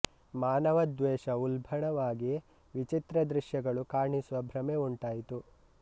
ಮಾನವ ದ್ವೇಷ ಉಲ್ಬಣವಾಗಿ ವಿಚಿತ್ರ ದೃಶ್ಯಗಳು ಕಾಣಿಸುವ ಭ್ರಮೆ ಉಂಟಾಯಿತು